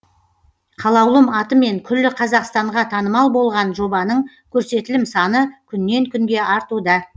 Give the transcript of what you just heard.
қалаулым атымен күллі қазақстанға танымал болған жобаның көрсетілім саны күннен күнге артуда